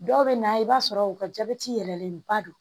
Dɔw bɛ na i b'a sɔrɔ u ka jabɛti yɛlɛlenba don